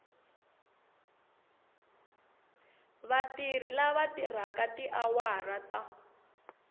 vatirhi lava tirhaka tiawara ta